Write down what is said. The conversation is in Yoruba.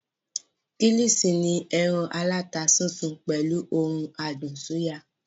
Kílìṣí ni ẹran aláta sísun pẹ̀lú ohun adùn súyà